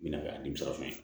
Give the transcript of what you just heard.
Mina nimisa fɛn ye